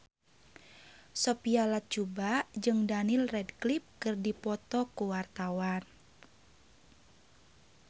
Sophia Latjuba jeung Daniel Radcliffe keur dipoto ku wartawan